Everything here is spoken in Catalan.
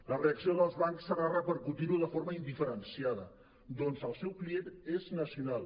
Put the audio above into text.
la reacció dels bancs serà repercutir·ho de forma indiferenciada ja que el seu client és nacional